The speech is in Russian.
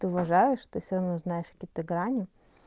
ты уважаешь ты всё равно знаешь какие-то грани